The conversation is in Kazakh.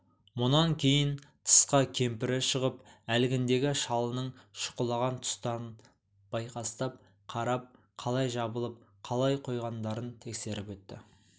мұнан кейін тысқа кемпірі шығып әлгіндегі шалының шұқылаған тұстарын байқастап қарап қалай жабылып қалай қойғандарын тексеріп өтті